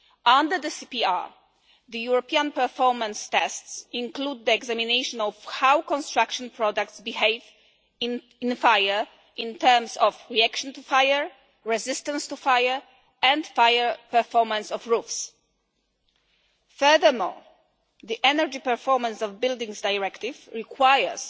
Under the CPR, the European performance tests include the examination of how construction products behave in fire in terms of reaction to fire, resistance to fire and the fire performance of roofs. Furthermore, the Energy Performance of Buildings Directive requires